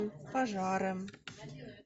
пожары